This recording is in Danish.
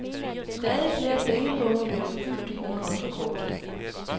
Stadig flere pengepunge bliver fyldt med kontokort.